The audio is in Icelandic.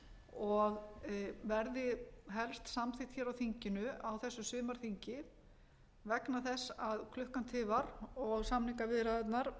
og verði helst samþykkt hér á þinginu á þessu sumarþingi vegna þess að klukkan tifar og samningaviðræðurnar